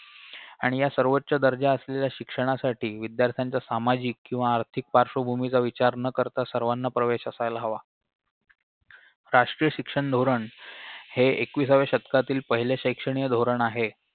आणि या सर्वोच्च दर्जा असलेल्या शिक्षणासाठी विद्यार्थ्यांच्या सामाजिक किंवा आर्थिक पार्श्वभूमीचा विचार न करता सर्वांना प्रवेश असायला हवा राष्ट्रीय शिक्षण धोरण हे एकविसाव्या शतकातील पहिले शैक्षणिय धोरण आहे